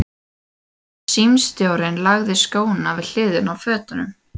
Símstjórinn lagði skóna við hliðina á fötunum.